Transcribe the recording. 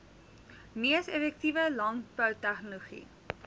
mees effektiewe landboutegnologie